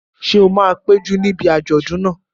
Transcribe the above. Ṣé o máa péjú níbi àjọ̀dún náà?